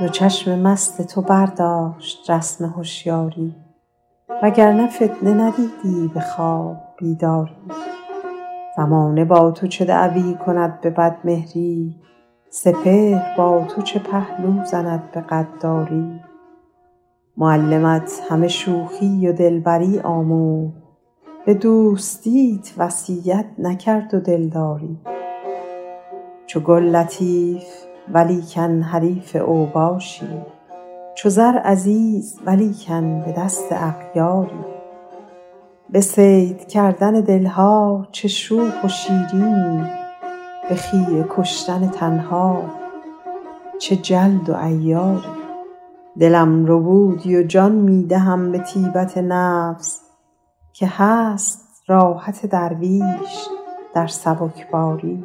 دو چشم مست تو برداشت رسم هشیاری و گر نه فتنه ندیدی به خواب بیداری زمانه با تو چه دعوی کند به بدمهری سپهر با تو چه پهلو زند به غداری معلمت همه شوخی و دلبری آموخت به دوستیت وصیت نکرد و دلداری چو گل لطیف ولیکن حریف اوباشی چو زر عزیز ولیکن به دست اغیاری به صید کردن دل ها چه شوخ و شیرینی به خیره کشتن تن ها چه جلد و عیاری دلم ربودی و جان می دهم به طیبت نفس که هست راحت درویش در سبکباری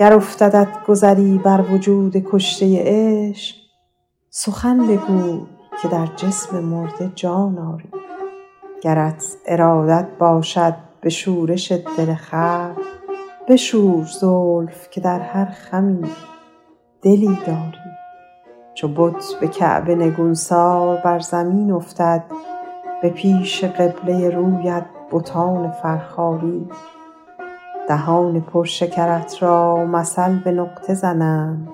گر افتدت گذری بر وجود کشته عشق سخن بگوی که در جسم مرده جان آری گرت ارادت باشد به شورش دل خلق بشور زلف که در هر خمی دلی داری چو بت به کعبه نگونسار بر زمین افتد به پیش قبله رویت بتان فرخاری دهان پر شکرت را مثل به نقطه زنند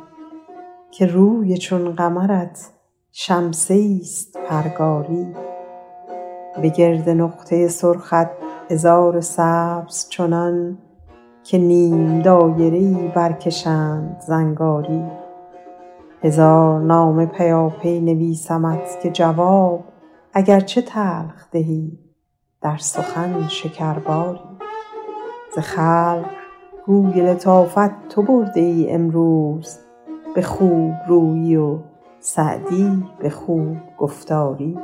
که روی چون قمرت شمسه ایست پرگاری به گرد نقطه سرخت عذار سبز چنان که نیم دایره ای برکشند زنگاری هزار نامه پیاپی نویسمت که جواب اگر چه تلخ دهی در سخن شکرباری ز خلق گوی لطافت تو برده ای امروز به خوب رویی و سعدی به خوب گفتاری